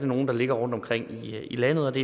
nogle der ligger rundtomkring i landet